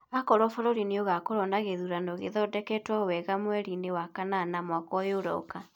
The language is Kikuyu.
akorwo bũrũri nĩ ũgakorũo na gĩthurano gĩthondeketwo wega mweri-inĩ wa kanana mwaka ũyũ ũroka.